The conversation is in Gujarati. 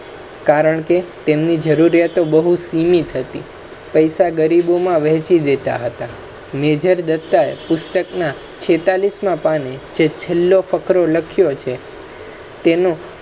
કારણકે તેમની જરુરરિયાતો બહુ સિમિત હતી પૈસા ગરીબોમા વહેચી દેતા હતા major દત્તા એ પુસ્તક્ના છેતાલીસ ના પાને જે છેલ્લો ફકરો લખ્યો છે તેનુ,